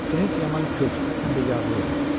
Tunis yaman kök, həm də yağlı idi.